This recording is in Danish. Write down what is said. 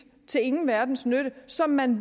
til ingen verdens nytte som man